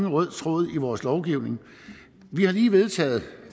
rød tråd i vores lovgivning vi har lige vedtaget